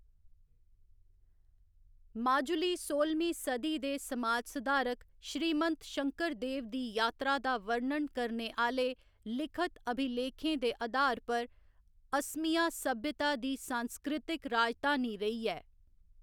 माजुली सोह्‌लमीं सदी दे समाज सुधारक श्रीमंत शंकरदेव दी यात्रा दा वर्णन करने आह्‌‌‌ले लिखत अभिलेखें दे अधार पर असमिया सभ्यता दी सांस्कृतक राजधानी रेही ऐ।